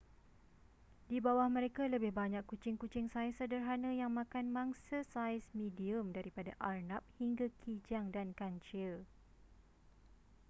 di bawah mereka lebih banyak kucing-kucing saiz sederhana yang makan mangsa saiz medium daripada arnab hingga kijang dan kancil